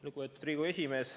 Lugupeetud Riigikogu esimees!